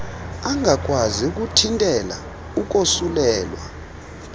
angakwazi ukuthintela ukosulelwa